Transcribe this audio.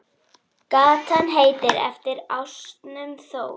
Gatan heitir eftir ásnum Þór.